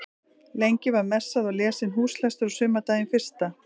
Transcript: Lengi var messað og lesinn húslestur á sumardaginn fyrsta.